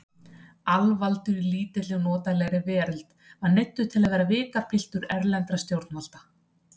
Alvaldur í lítilli og notalegri veröld var neyddur til að vera vikapiltur erlendra stjórnvalda.